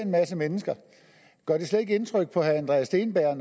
masse mennesker gør det slet ikke indtryk på herre andreas steenberg